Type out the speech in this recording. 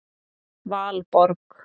Valborg